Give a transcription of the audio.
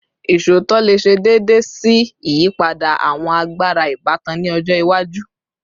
Iṣootọ le ṣe deede si iyipada awọn agbara ibatan ni ọjọ iwaju